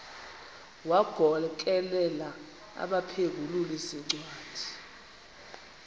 wagokelela abaphengululi zincwadi